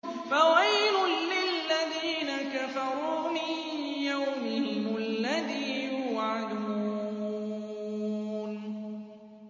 فَوَيْلٌ لِّلَّذِينَ كَفَرُوا مِن يَوْمِهِمُ الَّذِي يُوعَدُونَ